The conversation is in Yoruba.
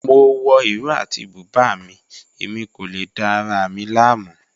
Mo wọ ìró àti bùbá mi, ẹ̀mi kò lè dá ara mi lámu.